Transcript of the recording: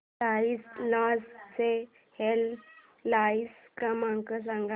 cross knowledge चा helpline क्रमांक सांगा